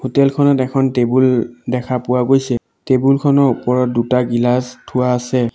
Hotel খনত এখন table দেখা পোৱা গৈছে টেবুল খনৰ ওপৰত দুটা গিলাছ থোৱা আছে।